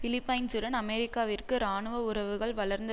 பிலிப்பைன்சுடன் அமெரிக்காவிற்கு இராணுவ உறவுகள் வளர்ந்து